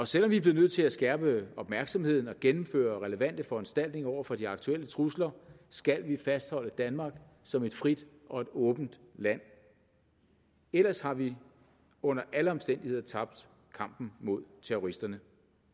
selv om vi bliver nødt til at skærpe opmærksomheden og gennemføre relevante foranstaltninger over for de aktuelle trusler skal vi fastholde danmark som et frit og et åbent land ellers har vi under alle omstændigheder tabt kampen mod terroristerne